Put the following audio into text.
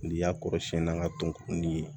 N'i y'a kɔrɔsiyɛn n'a ka tonkonni ye